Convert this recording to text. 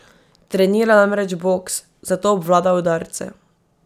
Trenira namreč boks, zato obvlada udarce.